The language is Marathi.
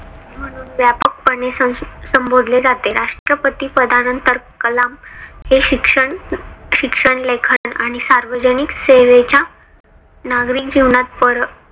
म्हणून व्यापक पणे संबोधले जाते. राष्ट्रपती पदा नंतर कलाम हे शिक्षण शिक्षण, लेखन आणि सार्वजनिक सेवेच्या नागरिक जीवनात परत